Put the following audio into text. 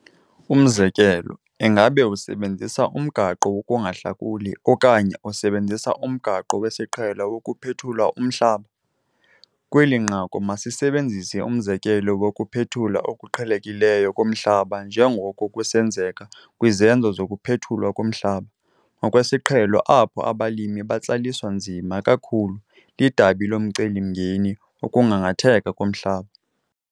Umzekelo, ingaba usebenzisa umgaqo wokungahlakuli okanye usebenzisa umgaqo wesiqhelo wokuphethula umhlaba? Kweli nqaku masisebenzise umzekelo wokuphethula okuqhelekileyo komhlaba njengoko kusenzeka kwizenzo zokuphethulwa komhlaba ngokwesiqhelo apho abalimi batsaliswa nzima kakhulu lidabi lomcelimngeni wokugangatheka komhlaba.